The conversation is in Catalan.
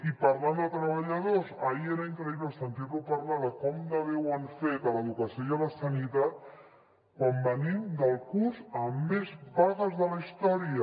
i parlant de treballadors ahir era increïble sentir lo parlar de com de bé ho han fet a l’educació i a la sanitat quan venim del curs amb més vagues de la història